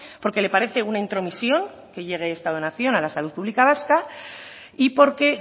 porque le parece una intromisión que llegue esta donación a la salud pública vasca y porque